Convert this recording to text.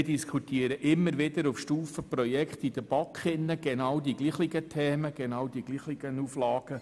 In der BaK diskutieren wir immer wieder auf Projektstufe über die genau gleichen Themen und Auflagen.